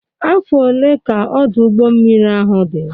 Afọ one ka Ọdụ ụgbọ mmiri ahụ dị?